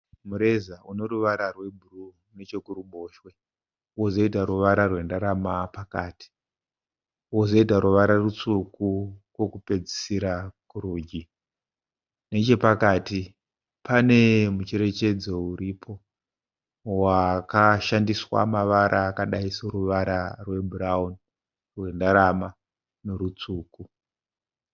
Mureza une ruvara rwebhuruu nechekuruboshwe, wozoita ruvara rwendarama pakati, wozoita ruvara rutsvuku kwokupedzisira kurudyi. Nechepakati pane mucherechedzo uripo wakashandiswa mavara akadai soruvara rwebhurauni, rwendarama norwutsvuku.